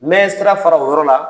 N bɛ sira fara o yɔrɔ la.